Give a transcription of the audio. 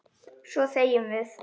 Svo þegjum við.